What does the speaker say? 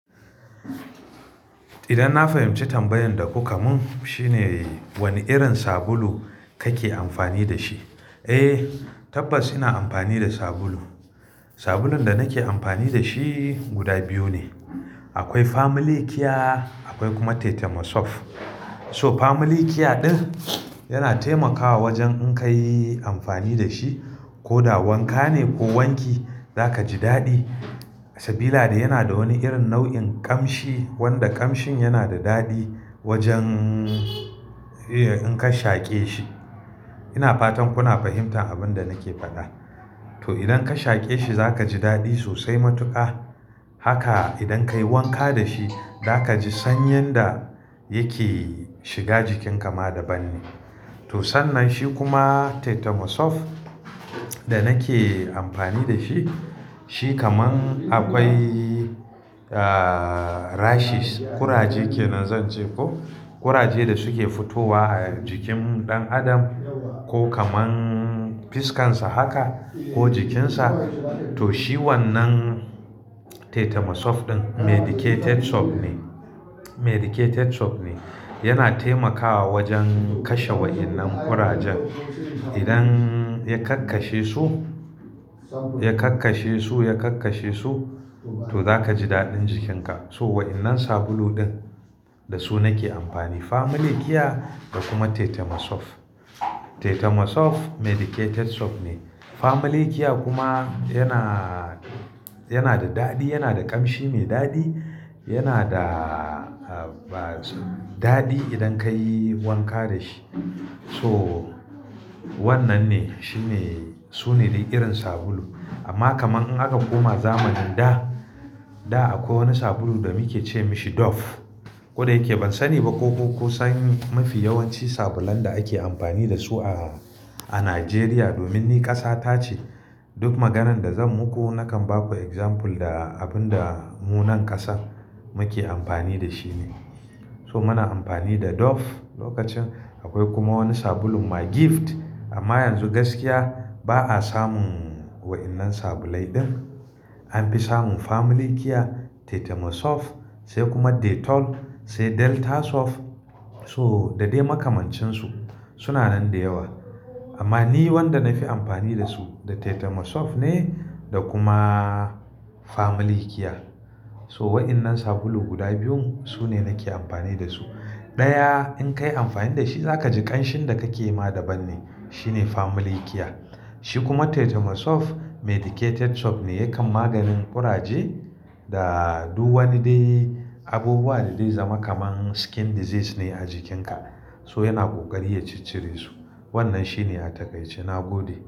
Idan na fahimci tambayan da kuka mun shine wani irin sabulu kake amfani da shi? Eh tabbas ina amfani da sabulu. Sabulun da nake amfani da shi guda biyu ne. Akwai Family Kia akwai kuma Tetemosof. So Family Kia ɗin, yana taimakawa wajen in ka yi amfani da shi ko da wanka ne ko wanki za ka ji daɗi. Sabila da yana da wani irin nau'in kamshi wanda kamshin yana da daɗi wajen eh in ka shaƙe shi. Ina fatan kuna fahimtar abun da nake faɗa? To idan ka shaƙe shi za ka ji daɗi sosai matuƙa. Haka, idan ka yi wanka da shi za ka ji sanyin da yake shiga jikin ka ma da ban ne. To sannan shi kuma Tetemosof da nake amfani da shi, shi kaman akwai Ah rashes, kuraje kenan zan ce ko? Kuraje da suke fitowa a jikin ɗan adam ko kaman fiskan sa haka ko jikin sa to shi wannan Tetemosof ɗin medicated soap ne--medicated soap ne. Yana taimakawa wajen kashe wa'innan kurajen. Idan ya kakkashe su--ya kakkashe su--ya kakkashe, to za ka ji daɗin jikin ka. So wa'innan sabulu ɗin da su nake amfani Family Kia da kuma Tetemosof. Tetemosof medicated soap ne. Family Kia kuma yana--yana da daɗi, yana da kamshi mai daɗi, yana da haba daɗi idan ka yi wanka da shi. To wannan ne shine--sune dai irin sabulu. Amma kaman in aka koma zamanin da, da akwai wani sabulun da muke ce mi shi Doff. Koda yake ban sani ba ko ku kun san mafi yawanci sabulan da ake amfani da su a--a Najeriya domin ni ƙasa tace. Duk maganan da zan muku nakan baku example da abun da mu nan ƙasa muke amfani da shi ne. So muna amfani da Doff lokacin, akwai kuma wani sabulun My Gift amma yanzu gaskiya ba a samun wa'innan sabulai ɗin. An fi samun Family Kia, Tetemosof sai kuma Dettol sai Deltasoft so da dai makamancin su. Suna nan da yawa amma ni wanda na fi amfani da su da Tetemosof ne da kuma Family Kia. So wa'innan sabulu guda biyun su ne nake amfani da su. Ɗaya in ka yi amfani da shi za ka ji ƙanshin da kake ma da ban ne, shi ne Family Kia. Shi kuma Tetemosof medicated soap ne yakan maganin kuraje, da duk wani dai abubuwa da zai zama kaman skin disease ne a jikin ka so yana kokari ya ciccire su. Wannan shi ne a takaice, na gode.